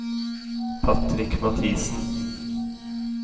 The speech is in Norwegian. Patrick Mathisen